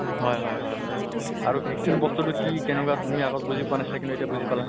হয় হয় হয় হয় । আৰু vaccine বস্তু টো কি কেনেকুৱা তুমি আগত বুজি পোৱা নাছিলা, কিন্তু এতিয়া বুজি পালা।